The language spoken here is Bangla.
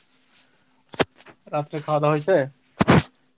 রাত্রে খাওয়া দাওয়া হয়েছে?